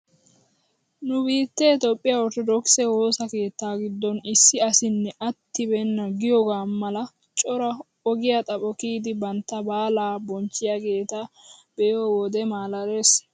NU biittee toophphiyaa otrttodokisee woossa keettaa giddon issi asinne attibeena giyoogaa mala cora ogiyaa xapho kiyidi bantta baalaa bonchchiyaageta be'iyoo wode malaales!